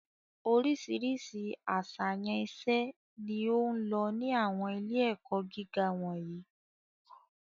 Oríṣiríṣi àṣàyàn iṣẹ́ ni ó ń lọ ní àwọn ilé-ẹ̀kọ́ gíga wọ̀nyí.